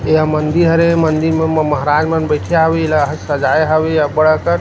एहा मंदिर हरे मंदिर ए मंदिर म म महाराज बइठे हावे एला सजाए हावे अब्बड़ अकन --